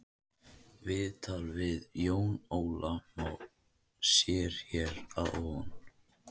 Viðtalið við Jón Óla má sér hér að ofan.